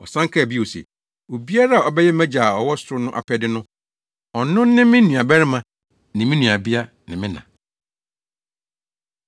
Ɔsan kaa bio se, “Obiara a ɔbɛyɛ mʼagya a ɔwɔ ɔsoro no apɛde no, ɔno ne me nuabarima, ne me nuabea ne me na.”